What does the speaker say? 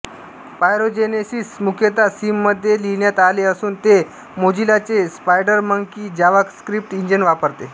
pyrogenesis मुख्यतः सीमध्ये लिहिण्यात आले असून ते मोझिलाचे स्पायडरमंकी जावास्क्रिप्ट इंजिन वापरते